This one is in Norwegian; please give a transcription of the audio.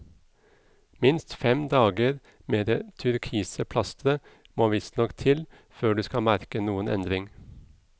Minst fem dager med det turkise plasteret må visstnok til før du skal merke noen endring.